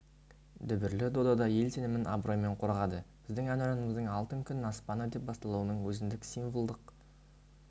дүбірлі додада ел сенімін абыроймен қорғады біздің әнұранымыздың алтын күн аспаны деп басталуының өзіндік символдық